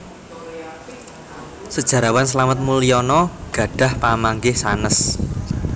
Sejarawan Slamet Muljana gadhah pamanggih sanes